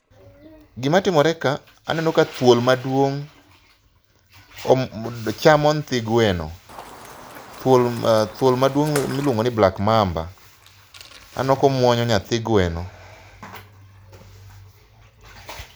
gima timore ka aneno ka dhuol maduong' chamo nyithi gweno, thuol maduong miluongo ni black mamba aneno komuonyo nyathi gweno